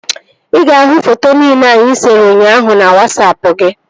Ị ga-ahụ foto nile anyị sere ụnyaahụ na Wasapụ gị